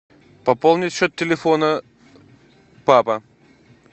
пополнить счет телефона папа